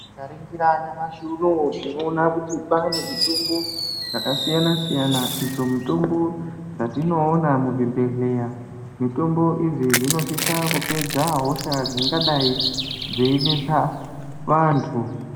Tikaningira nyamashi unowu tinoona kuti kwane mitombo dzakasiyana siyana idzo mitombo dzatinoona muzvibhedhlera mitombo idzi dzinosisa kupedza hosha dzingasisa kupedza vantu.